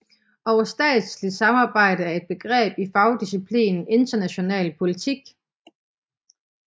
Overstatsligt samarbejde er et begreb i fagdisciplinen international politik